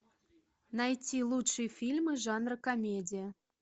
найти лучшие фильмы жанра комедия